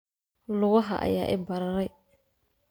Lugaha ayaa i bararay